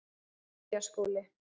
Giljaskóli